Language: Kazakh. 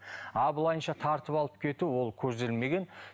ал былайынша тартып алып кету ол көзделмеген